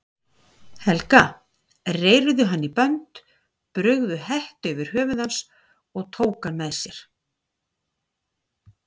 Helga, reyrðu hann í bönd, brugðu hettu yfir höfuð hans og tóku hann með sér.